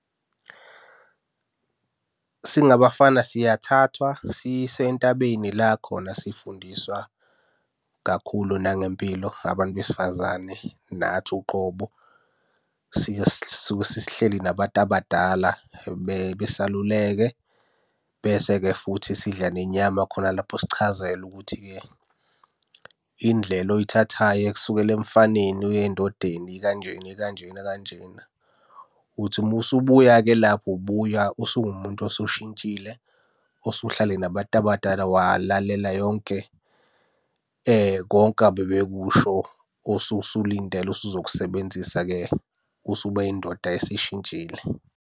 Singabafana siyathathwa siyiswe entabeni la khona sifundiswa kakhulu nangempilo, abantu besifazane, nathi uqobo. Sisuke sesihleli nabantu abadala besaluleke. Bese-ke futhi sidla nenyama khona lapho sichazelwe ukuthi-ke indlela oyithathayo ekusukela emfaneni uya endodeni ikanjena ikanjena kanjena. Uthi uma usubuya-ke lapho, ubuya usuwumuntu osushintshile, osuhlale nabantu abadala walalela yonke konke abebekusho osuke usulindele osuzokusebenzisa-ke usuba yindoda esishintshile.